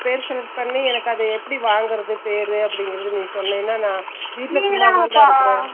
per select பண்ணி என்னக்கு அது எப்படி வாங்குறது பெரு அபிடின்னு என்னக்கு சொன்னேன்னா